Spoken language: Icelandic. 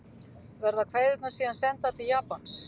Verða kveðjurnar síðan sendar til Japans